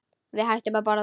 Við hættum að borða.